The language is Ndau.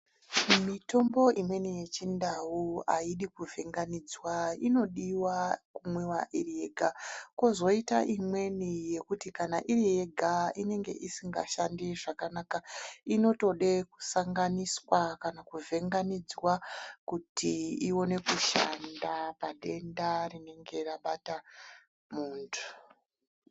Mitombo imweni yechindau aidi kuvhenganidzwa inoda kumwiwa iri yega kozoita imweni yekuti kana iri yega inge isingashandi zvakanaka inotode kusanganiswa kana kuvhenganidzwa kuti ione kushanda padenda rinenge rabata muntu.